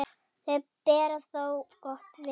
Þau bera þér gott vitni.